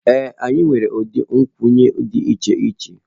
Ee anyị nwere ụdị nkwụnye dị iche iche ebe a